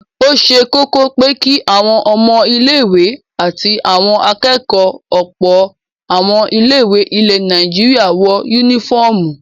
Ó ṣe kọ́kọ́ pé kí àwọn ọmọ ilé-ìwé àti àwọn akẹ́kọ̀ọ́ ọ̀pọ̀ àwọn ilé-ìwé ilẹ̀ Nàìjíríà wọ únífọ́ọ́mù.